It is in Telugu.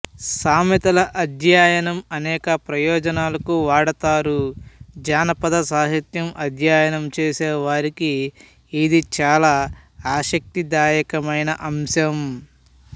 సామెతల అధ్యయనం అనేక ప్రయోజనాలకు వాడుతారు జానపద సాహిత్యం అధ్యయనం చేసేవారికి ఇది చాలా ఆసక్తిదాయకమైన అంశం